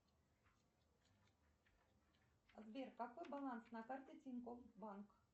сбер какой баланс на карте тинькофф банк